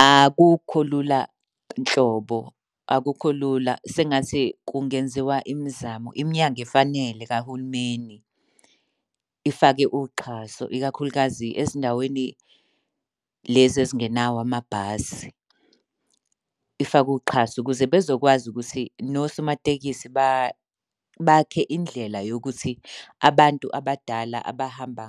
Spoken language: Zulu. Akukho lula nhlobo, akukho lula sengathi kungenziwa imizamo. Iminyango efanele kahulumeni ifake uxhaso, ikakhulukazi ezindaweni lezi ezingenawo amabhasi. Ifake uxhaso ukuze bezokwazi ukuthi nosomamatekisi bakhe indlela yokuthi abantu abadala abahamba